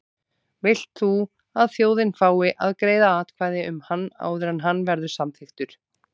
Vilt þú að þjóðin fái að greiða atkvæði um hann áður en hann verður samþykktur?